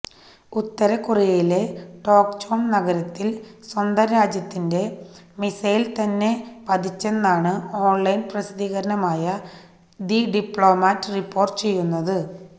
ഉത്തര കൊറിയയിലെ ടോക്ചോണ് നഗരത്തില് സ്വന്തം രാജ്യത്തിന്റെ മിസൈല്തന്നെ പതിച്ചെന്നാണ് ഓണ്ലൈന് പ്രസിദ്ധീകരണമായ ദി ഡിപ്ലോമാറ്റ് റിപ്പോര്ട്ടു ചെയ്യുന്നത്